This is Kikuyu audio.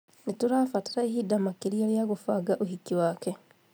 Nĩtũrabatara ihinda makĩria rĩa gubanga ũhiki wake